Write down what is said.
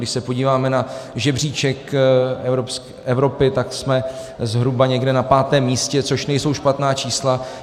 Když se podíváme na žebříček Evropy, tak jsme zhruba někde na pátém místě, což nejsou špatná čísla.